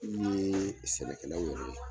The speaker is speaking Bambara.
K'u yeee sɛnɛkɛlaw yɛrɛ ye